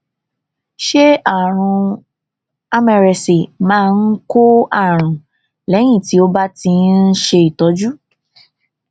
ṣé àrùn mrsa máa ń kó àrùn lẹyìn tí o bá ti ń ṣe ìtọjú